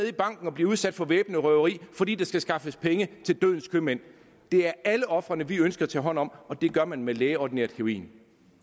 i banken og bliver udsat for væbnet røveri fordi der skal skaffes penge til dødens købmænd det er alle ofrene vi ønsker at tage hånd om og det gør man med lægeordineret heroin